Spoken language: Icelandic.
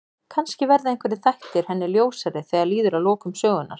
Kannski verða einhverjir þættir hennar ljósari þegar líður að lokum sögunnar.